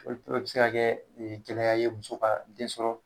Olu be se ka kɛ gɛlɛya ye muso den sɔrɔ